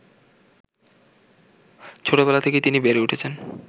ছোটবেলা থেকেই তিনি বেড়ে উঠেছেন